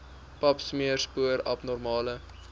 papsmeer spoor abnormale